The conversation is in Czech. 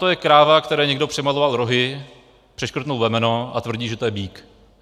To je kráva, které někdo přimaloval rohy, přeškrtl vemeno a tvrdí, že to je býk.